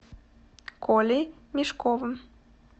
колей мешковым